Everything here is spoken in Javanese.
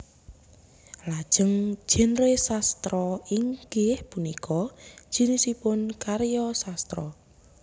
Lajeng genre sastra inggih punika jinisipun karya sastra